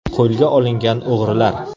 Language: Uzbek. Qo‘lga olingan o‘g‘rilar.